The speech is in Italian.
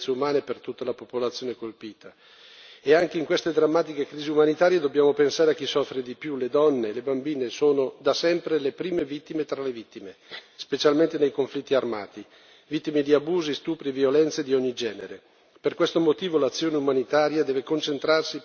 Le crisi umanitarie comportano sempre grandissime sofferenze umane per tutta la popolazione colpita e anche in queste drammatiche crisi umanitarie dobbiamo pensare a chi soffre di più, le donne, le bambine sono da sempre le prime vittime tra le vittime, specialmente nei conflitti armati, vittime di abusi, stupri e violenze di ogni genere.